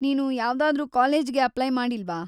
ನೀನು ಯಾವ್ದಾದ್ರೂ ಕಾಲೇಜ್‌ಗೆ ಅಪ್ಲೈ ಮಾಡಿಲ್ವಾ?